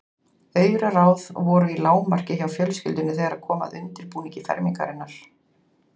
Auraráð voru í lágmarki hjá fjölskyldunni þegar kom að undirbúningi fermingarinnar.